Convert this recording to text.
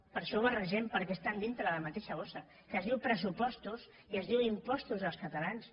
per això ho barregem perquè estan dintre la mateixa bossa que es diu pressupostos i es diu impostos dels catalans